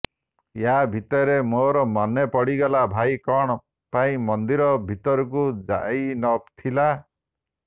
ୟା ଭିତରେ ମୋର ମନେ ପଡ଼ିଗଲା ଭାଇ କଣ ପାଇଁ ମନ୍ଦିର ଭିତରକୁ ଯାଇ ନ ଥିଲା